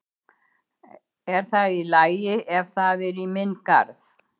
Er það allt í lagi ef það er í minn garð?